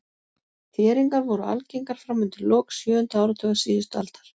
Þéringar voru algengar fram undir lok sjöunda áratugar síðustu aldar.